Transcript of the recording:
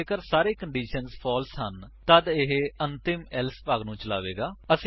ਜੇਕਰ ਸਾਰੇ conditions false ਹਨ ਤੱਦ ਇਹ ਅੰਤਮ ਏਲਸੇ ਭਾਗ ਨੂੰ ਚਲਾਵੇਗਾ